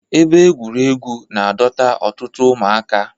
Ebe egwuregwu na-adọta ọtụtụ ụmụaka.